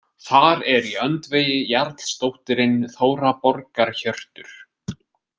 Þar er í öndvegi jarlsdóttirin Þóra borgarhjörtur.